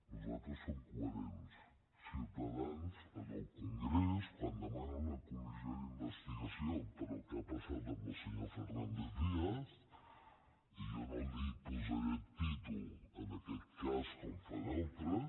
nosaltres som coherents ciutadans en el congrés quan demana una comissió d’investigació pel que ha passat amb el senyor fernández díaz jo no li posaré títol en aquest cas com fan altres